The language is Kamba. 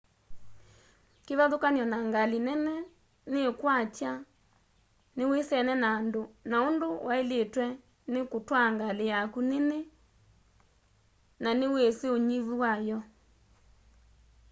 kivathukany'o na ngali nene niikwatya niwisene na undu wailitwe ni kutwaa ngali yaku nini na niwisi unyivu wayo